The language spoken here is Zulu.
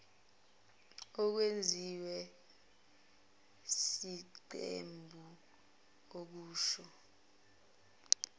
okwenziwe yiqembu akusho